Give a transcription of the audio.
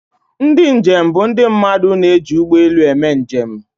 Ndị njem bụ ndị mmadụ na-eji ụgbọ elu eme njem.